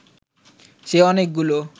সে অনেকগুলো